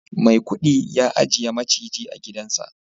maikudi ya ajiye maciji a gidansa